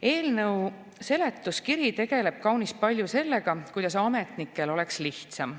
Eelnõu seletuskiri tegeleb kaunis palju sellega, kuidas ametnikel oleks lihtsam.